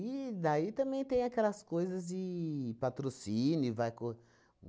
E daí também tem aquelas coisas de patrocínio, vai co